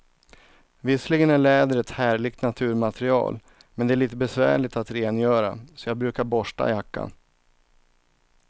Visserligen är läder ett härligt naturmaterial, men det är lite besvärligt att rengöra, så jag brukar borsta jackan.